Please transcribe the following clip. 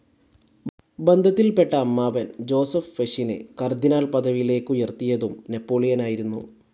ബന്ധത്തിൽപെട്ട അമ്മാവൻ ജോസെഫ് ഫെഷിനെ കാർഡിനൽ പദവിയിലേക്കുയർത്തിയതും നെപോളിയനായിരുന്നു.